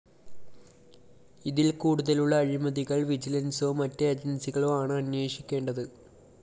ഇതില്‍ കൂടുതലുള്ള അഴിമതികള്‍ വിജിലന്‍സോ മറ്റു ഏജന്‍സികളോ ആണ് അന്വഷിക്കേണ്ടത്